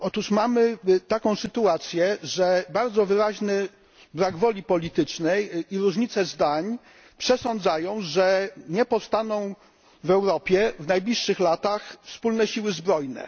Mamy taką sytuację, że bardzo wyraźny brak woli politycznej i różnice zdań przesądzają, że nie powstaną w Europie w najbliższych latach wspólne siły zbrojne.